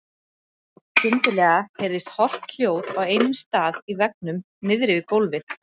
Skyndilega heyrðist holt hljóð á einum stað í veggnum niðri við gólfið.